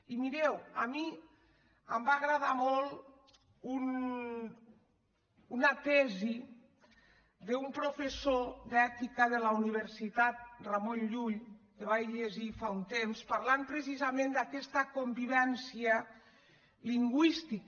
i mireu a mi em va agradar molt una tesi d’un pro·fessor d’ètica de la universitat ramon llull que vaig llegir fa un temps que parlava precisament d’aquesta convivència lingüística